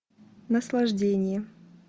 наслаждение